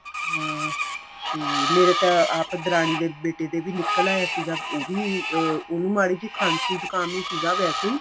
ਹਾਂ ਤੇ ਮੇਰੇ ਤਾਂ ਆਪ ਦਰਾਣੀ ਦੇ ਬੇਟੀ ਦੇ ਨਿਕਲ ਆਇਆ ਸੀਗਾ ਉਹ ਵੀ ਅਹ ਉਨੂੰ ਮਾੜੀ ਜੀ ਖਾਂਸੀ ਜੁਕਾਮ ਈ ਸੀਗਾ ਵੈਸੇ